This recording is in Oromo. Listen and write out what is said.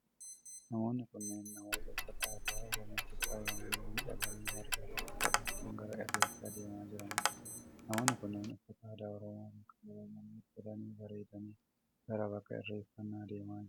Namoonni kunneen namoota uffata aadaa Oromootii faayamanii miidhaganii marga harkatti qabachuun gara Irreechaa deemaa jiranidha. Namoonni kunneen uffata aadaa Oromoo bakka garaa garaa uffatanii bareedaniii gara bakka irreeffannaa deemaa jiru.